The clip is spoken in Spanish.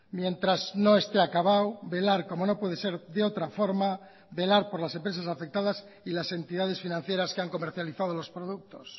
mientras no esté acabado velar como no puede ser de otra forma velar por las empresas afectadas y las entidades financieras que han comercializado los productos